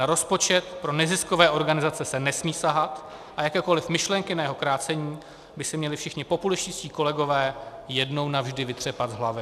Na rozpočet pro neziskové organizace se nesmí sahat a jakékoli myšlenky na jeho krácení by si měli všichni populističtí kolegové jednou navždy vytřepat z hlavy.